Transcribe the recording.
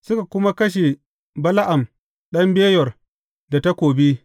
Suka kuma kashe Bala’am ɗan Beyor da takobi.